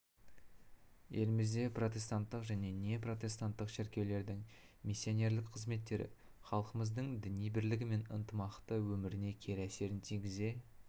елімізде протестанттық және неопротестанттық шіркеулердің миссионерлік қызметтері халқымыздың діни бірлігі мен ынтымақты өміріне кері әсерін тигізе